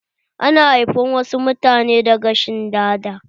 Ana haifar wasu mutane da gashin dada.